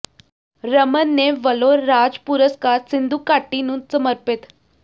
ਰਮਨ ਨੇ ਵੱਲੋਂ ਰਾਜ ਪੁਰਸਕਾਰ ਸਿੰਧੂ ਘਾਟੀ ਨੂੰ ਸਮਰਪਿਤ